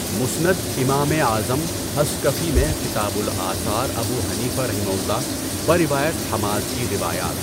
مُسنَد امامِ اعظم حَصکَفی میں کتابُ الآثار ابو حنیفہؒ، بروایت حماد کی روایات